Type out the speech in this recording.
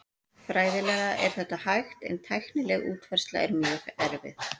Fræðilega er þetta hægt en tæknileg útfærsla er mjög erfið.